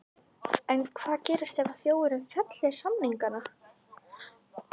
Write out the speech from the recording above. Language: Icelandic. En hvað gerist ef þjóðin fellir samningana?